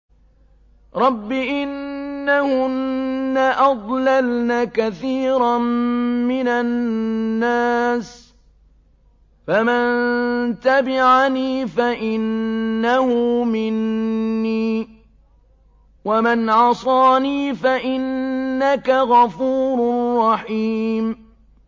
رَبِّ إِنَّهُنَّ أَضْلَلْنَ كَثِيرًا مِّنَ النَّاسِ ۖ فَمَن تَبِعَنِي فَإِنَّهُ مِنِّي ۖ وَمَنْ عَصَانِي فَإِنَّكَ غَفُورٌ رَّحِيمٌ